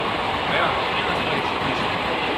Aja, ena stvar je še hujša.